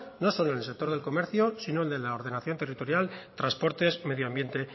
no solo en el sector del comercio sino en la ordenación territorial transportes medio ambiente